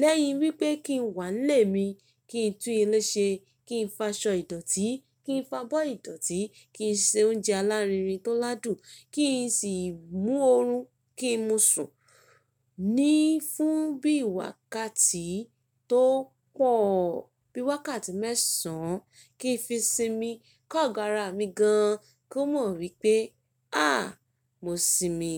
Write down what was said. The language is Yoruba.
lẹ́yìn wípé kí n wà nílé mi, kí n tún ilé ṣe, kí n fa aṣọ ìdọ̀tí, kí n fa abọ́ ìdọ̀tí, kí n ṣe oúnjẹ alárinrin tó ládùn, kí sì mú oorun, kí mo sùn, ní fún bí i wákàtí tó pọ̀ bí i wákàtí mẹ́sàn án, kí n fi sinmi, kó gara mi gan ko n mọ̀ wípé, àà, mo sinmi.